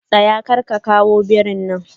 Tsaya! karka kawo birin nan.